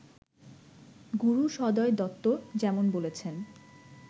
গুরু সদয় দত্ত যেমন বলেছেন